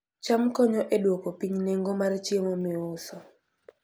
cham konyo e duoko piny nengo mar chiemo miuso